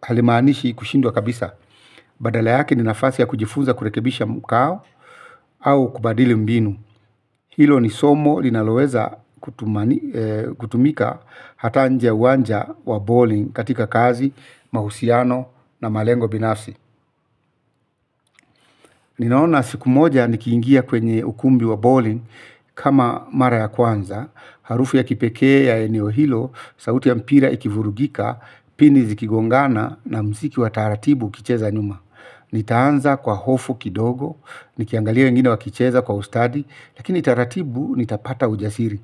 halimaanishi kushindwa kabisa. Badala yake ni nafasi ya kujifunza kurekebisha mkao au kubadili mbinu. Hilo ni somo linaloweza kutumika hata nje ya uwanja wa bowling katika kazi, mahusiano na malengo binafsi. Ninaona siku moja nikiingia kwenye ukumbi wa bowling kama mara ya kwanza, harufu ya kipekee ya eneo hilo, sauti ya mpira ikivurugika, pini zikigongana na muziki wa taratibu ukicheza nyuma. Nitaanza kwa hofu kidogo, nikiangalia wengine wakicheza kwa ustadi, lakini taratibu nitapata ujasiri.